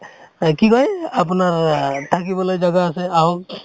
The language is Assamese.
এই কি কই আপোনাৰ আ থাকিবলৈ জাগা আছে আহক